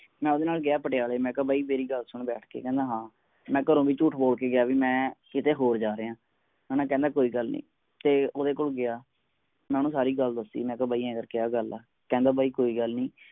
ਨਾਲ ਦੀ ਨਾਲ ਗਯਾ ਪਟਿਆਲੇ ਮੈ ਕਿਹਾ ਬਾਈ ਮੇਰੀ ਗੱਲ ਸੁਨ ਬੈਠ ਕੇ ਕਹਿੰਦਾ ਹਾਂ ਮੈ ਘਰੋਂ ਵੀ ਜੂਠ ਬੋਲ ਕੇ ਗਯਾ ਵੀ ਮੈ ਕੀਤੇ ਹੋਰ ਜਾਰੀਆ ਹਣਾ ਕਹਿੰਦਾ ਕੋਈ ਗੱਲ ਨੀ ਤੇ ਓਹਦੇ ਕੋਲ ਗਯਾ ਮੈ ਓਹਨੂੰ ਸਾਰੀ ਗੱਲ ਦਸੀ ਬੀ ਬਾਈ ਏਹ ਕਰ ਕੇ ਏਹ ਗੱਲ ਹੈ ਕਹਿੰਦਾ ਬਾਈ ਕੋਈ ਗੱਲ ਨੀ